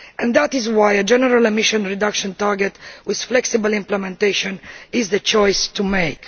That is why a general emissions reduction target with flexible implementation is the choice to make.